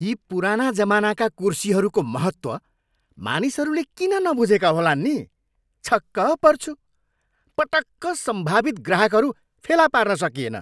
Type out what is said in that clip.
यी पुराना जमानाका कुर्सीहरूको महत्त्व मानिसहरूले किन नबुझेका होलान् नि? छक्क पर्छु। पटक्क सम्भवित ग्राहकहरू फेला पार्न सकिएन।